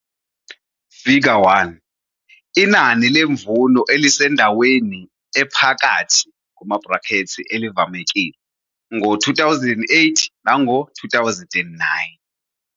Figure 1- Inani lemvuno elisendaweni ephakathi, elivamekile, ngo-2008 nango-2009.